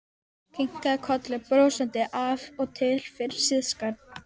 Kinkaði kolli brosandi af og til fyrir siðasakir.